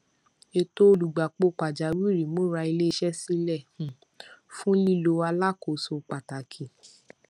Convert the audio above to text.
ètò olùgbapò pàjáwìrì múra iléiṣẹ sílẹ um fún lílọ alákòóso pàtàkì